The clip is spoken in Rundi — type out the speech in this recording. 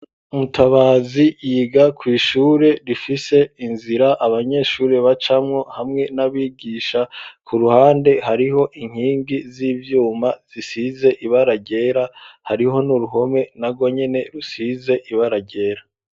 Umutabazi yiga kw'shuri rifise inzira abanyeshuri bacamwo hamwe n'abigisha ku ruhande hariho inkingi z'ivyuma zisize ibara ryera hariho n'uruhome nagonyene rusize ibara ryera.